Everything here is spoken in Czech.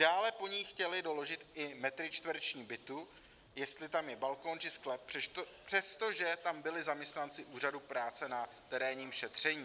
Dále po ní chtěli doložit i metry čtvereční bytu, jestli tam je balkon či sklep, přestože tam byli zaměstnanci úřadu práce na terénním šetření.